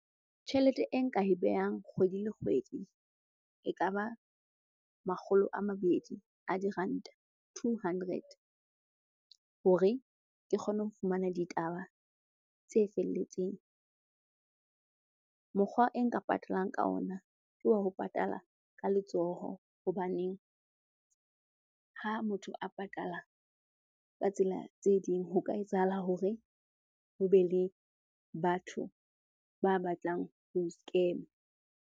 Tjhelete e nka e behang kgwedi le kgwedi ekaba makgolo a mabedi a diranta, two hundred hore ke kgone ho fumana ditaba tse felletseng. Mokgwa e nka patalang ka ona, ke wa ho patala ka letsoho hobaneng ha motho a patala ka tsela tse ding ho ka etsahala hore ho be le batho ba batlang ho nscam-a.